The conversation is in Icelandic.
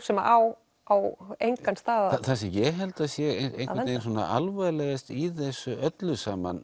sem á á engan stað það sem ég held að sé alvarlegast í þessu öllu saman